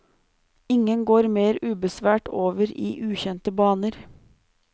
Ingen går mer ubesværet over i ukjente baner.